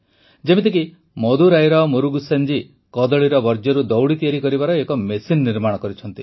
ଯେପରିକି ମଦୁରାଇର ମୁରୁଗେସନ ଜୀ କଦଳୀର ବର୍ଜ୍ୟରୁ ଦଉଡ଼ି ତିଆରି କରିବାର ଏକ ମେସିନ ନିର୍ମାଣ କରିଛନ୍ତି